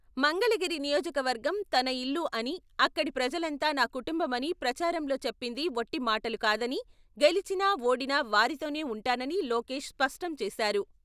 మంగళగిరి నియోజకవర్గం తన ఇల్లు అని, అక్కడి ప్రజలంతా నా కుటుంబమని ప్రచారంలో చెప్పింది వట్టి మాటలు కాదని, గెలిచినా ఓడినా వారితోనే ఉంటానని లోకేష్ స్పష్టం చేశారు.